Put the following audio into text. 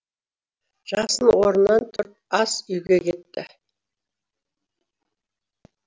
жасын орнынан тұрып ас үйге кетті